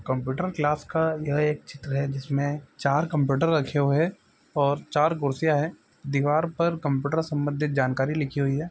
Computer class का यह एक चित्र है जिसमें चार कंप्यूटर रखे हुए हैं और चार कुर्सियां हैं। दीवार पर कंप्यूटर संबंधित जानकारियां लिखी हुई है।